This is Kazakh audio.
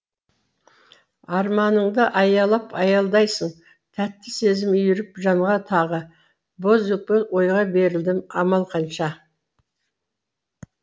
арманыңды аялап аялдайсың тәтті сезім үйіріп жанға тағы боз өкпе ойға берілдім амал қанша